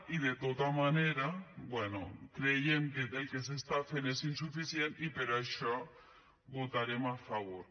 i de tota manera bé creiem que el que s’està fent és insuficient i per això hi votarem a favor